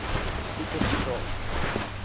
pieterskraal